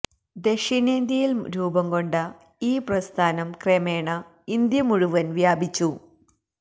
ദക്ഷിണേന്ത്യയിൽ രൂപം കൊണ്ട ഈ പ്രസ്ഥാനം ക്രമേണ ഇന്ത്യ മുഴുവൻ വ്യാപിച്ചു